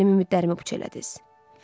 Siz mənim ümidlərimi puç elədiniz.